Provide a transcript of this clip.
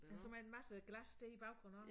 Altså med en masse glas dér i baggrunden også